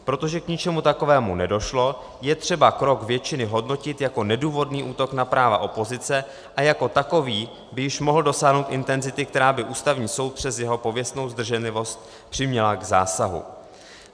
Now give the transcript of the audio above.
Protože k ničemu takovému nedošlo, je třeba krok většiny hodnotit jako nedůvodný útok na práva opozice a jako takový by již mohl dosáhnout intenzity, která by Ústavní soud přes jeho pověstnou zdrženlivost přiměla k zásahu.